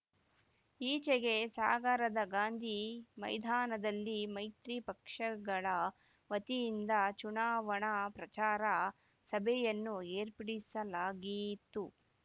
ಈಚೆಗೆ ಸಾಗರದ ಗಾಂಧಿ ಮೈದಾನದಲ್ಲಿ ಮೈತ್ರಿ ಪಕ್ಷಗಳ ವತಿಯಿಂದ ಚುನಾವಣಾ ಪ್ರಚಾರ ಸಭೆಯನ್ನು ಏರ್ಪಡಿಸಲಾಗಿತ್ತು